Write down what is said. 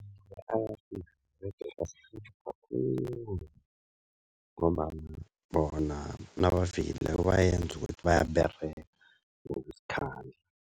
Iye, ayafika begodu asirhelebha khulu ngombana bona nabafikileko bayenza ukuthi bayaberega ngokuzikhandla.